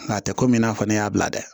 Nka a tɛ komi i n'a fɔ ne y'a bila dɛ